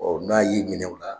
Ɔ n'a y'i minɛ o la